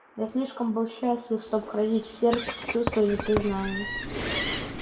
я слишком был счастлив чтоб хранить в сердце чувство непризнания